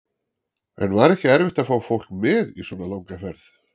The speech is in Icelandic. En var ekki erfitt að fá fólk með í svona langa ferð?